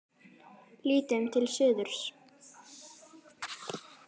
Lítum til suðurs.